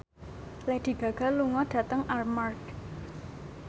Lady Gaga lunga dhateng Armargh